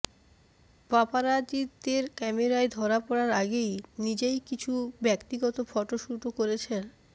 পাপরাৎজির ক্যামেরায় ধরা পড়ার আগে নিজেই কিছু ব্য়ক্তিগত ফটোশুটও করেছেন